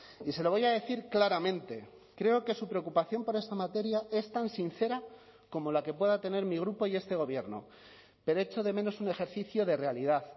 y se lo voy a decir claramente creo que su preocupación por esta materia es tan sincera como la que pueda tener mi grupo y este gobierno pero echo de menos un ejercicio de realidad